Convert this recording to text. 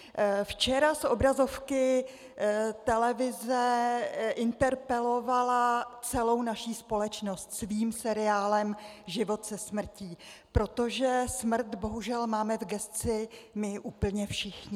Včera z obrazovky televize interpelovala celou naši společnost svým seriálem Život se smrtí, protože smrt bohužel máme v gesci my úplně všichni.